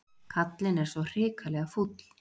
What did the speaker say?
Kallinn er svo hrikalega fúll.